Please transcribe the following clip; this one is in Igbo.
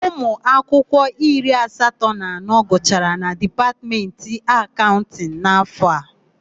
Ụmụakwụkwọ iri asatọ na anọ gụchara na Dipatmentị Akaụntịnụ. n'áfọ̀ a.